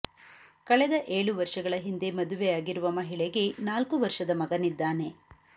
ಕಳೆದ ಏಳು ವರ್ಷಗಳ ಹಿಂದೆ ಮದುವೆಯಾಗಿರುವ ಮಹಿಳೆಗೆ ನಾಲ್ಕು ವರ್ಷದ ಮಗನಿದ್ದಾನೆ